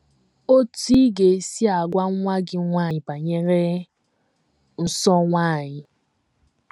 OTÚ Ị GA - ESI AGWA NWA GỊ NWANYỊ BANYERE NSỌ NWANYỊ